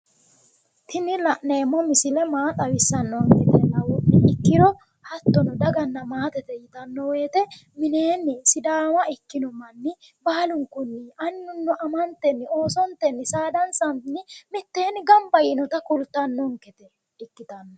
Tini la'neemmo misile maa xawissannonketa labba'nonne hattono maatete yinanni woyte mineenni sidaama ikkino baalunku annuno amano oosontenni saadatenni mitteenni gamba yiinota xawissannonkete yaate